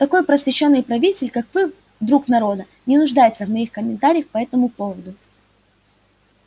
такой просвещённый правитель как вы друг народа не нуждается в моих комментариях по этому поводу